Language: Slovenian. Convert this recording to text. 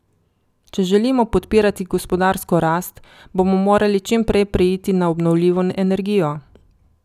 Če želimo podpirati gospodarsko rast, bomo morali čim prej preiti na obnovljivo energijo.